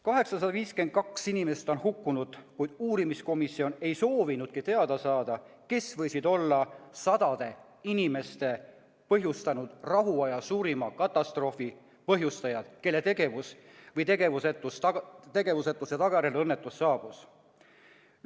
852 inimest on hukkunud, kuid uurimiskomisjon ei soovinudki teada saada, kes võisid olla sadade inimeste hukkumise põhjustanud rahuaja suurima katastroofi taga, kelle tegevuse või tegevusetuse tagajärjel õnnetus juhtus.